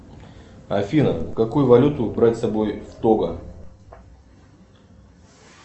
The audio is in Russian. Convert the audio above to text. афина какую валюту брать с собой в того